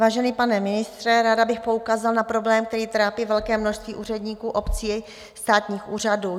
Vážený pane ministře, ráda bych poukázala na problém, který trápí velké množství úředníků obcí, státních úřadů.